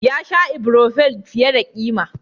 Ya sha Ibrofen fiye da ƙima.